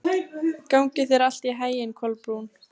Gangi þér allt í haginn, Kolbrún.